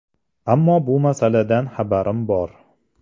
Ammo bu masaladan xabarim bor.